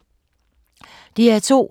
DR2